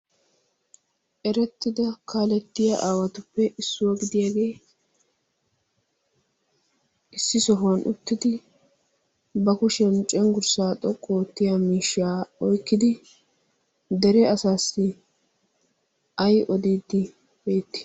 erettida kaalettiya aawatuppe issuwaa gidiyaagee issi sohuwan uttidi ba kushiyan cenggurssaa xoqqu oottiya miishshaa oikkidi dere asaassi ay odiiddi beetti?